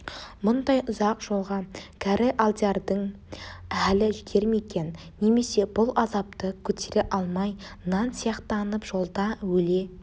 мұндай ұзақ жолға кәрі алдиярдың халі жетер ме екен немесе бұл азапты көтере алмай нан сияқтанып жолда өле